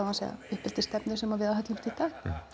uppeldisstefnu sem við aðhyllumst í dag